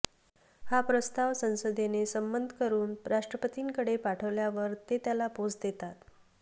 हा प्रस्ताव संसदेने संमत करून राष्ट्रपतींकडे पाठविल्यावर ते त्याला पोच देतात